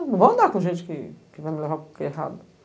Não vou andar com gente que que vai me levar para o errado.